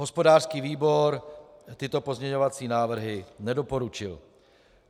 Hospodářský výbor tyto pozměňovací návrhy nedoporučil.